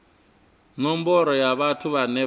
nomboro ya vhathu vhane vha